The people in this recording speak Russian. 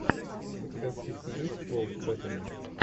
у тебя в списке есть пол беттани